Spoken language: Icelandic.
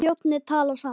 Flóni- tala saman.